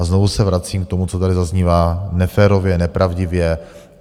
A znovu se vracím k tomu, co tady zaznívá neférově, nepravdivě.